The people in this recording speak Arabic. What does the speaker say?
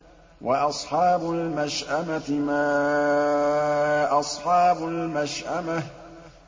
وَأَصْحَابُ الْمَشْأَمَةِ مَا أَصْحَابُ الْمَشْأَمَةِ